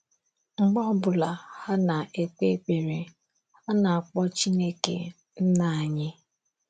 Mgbe ọ ọ bụla ha na - ekpe ekpere, ha na - akpọ Chineke, Nna Anyị.